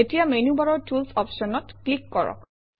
এতিয়া মেনুবাৰৰ টুলছ অপশ্যনত ক্লিক কৰক